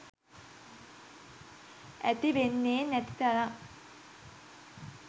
ඇතිවෙන්නේ නැති තරම්.